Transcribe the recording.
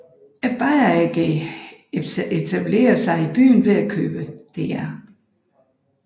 Bayer AG etablerede sig i byen ved at købe Dr